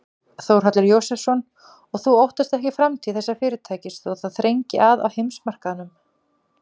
Þórhallur Jósefsson: Og þú óttast ekki framtíð þessa fyrirtækis þó það þrengi að á heimsmarkaðnum?